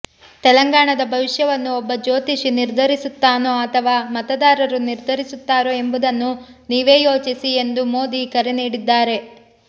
ತೆಲಂಗಾಣದ ಭವಿಷ್ಯವನ್ನು ಒಬ್ಬ ಜ್ಯೋತಿಷಿ ನಿರ್ಧರಿಸುತ್ತಾನೋ ಅಥವಾ ಮತದಾರರು ನಿರ್ಧರಿಸುತ್ತಾರೋ ಎಂಬುದನ್ನು ನೀವೇ ಯೋಚಿಸಿ ಎಂದು ಮೋದಿ ಕರೆ ನೀಡಿದ್ದಾರೆ